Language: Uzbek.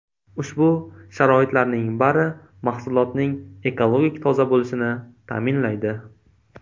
Ushbu sharoitlarning bari mahsulotning ekologik toza bo‘lishini ta’minlaydi.